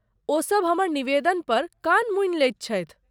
ओसभ हमर निवेदन पर कान मूनि लैत छथि।